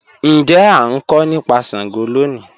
Njẹ a nkọ nipa Sango loni?